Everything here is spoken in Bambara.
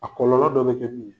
A kɔlɔlɔ bɛ kɛ min ye.